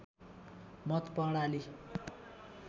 मत प्रणाली